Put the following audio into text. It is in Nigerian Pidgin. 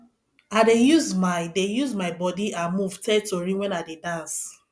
i dey use my dey use my body and move tell tori wen i dey dance